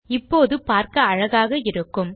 இப்போது பார்க்க அழகாக இருக்கும்